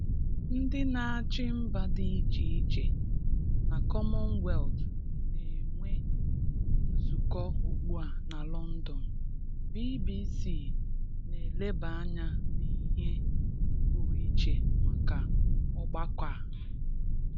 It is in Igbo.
Ndị n'achị mba dị iche iche na Commonwealth n'enwe nzụkọ ugbua na London, BBC n'eleba anya n'ihe pụrụ iche maka ọgbakọ a.